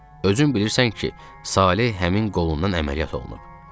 Özün bilirsən ki, Saleh həmin qolundan əməliyyat olunub.